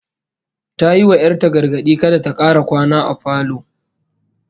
Ta yi wa 'yar ta gargadi kada ta kara kwana a falo